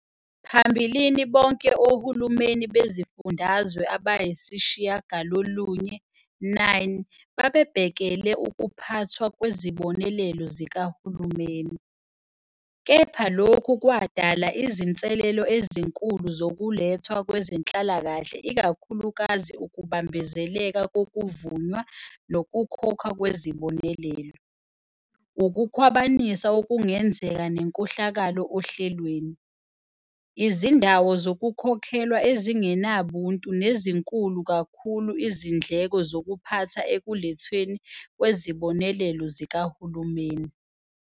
Phambilini bonke ohulumeni bezifundazwe abayisishiyagalolunye, 9, babebhekele ukuphathwa kwezibonelelo zikahulumeni, kepha lokhu kwadala izinselelo ezinkulu zokulethwa kwezenhlalakahle ikakhulukazi ukubambezeleka kokuvunywa nokukhokhwa kwezibonelelo, ukukhwabanisa okungenzeka nenkohlakalo ohlelweni, izindawo zokukhokhelwa ezingenabuntu nezinkulu kakhulu izindleko zokuphatha ekulethweni kwezibonelelo zikahulumeni.